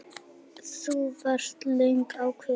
Elín: Þú varst löngu ákveðin?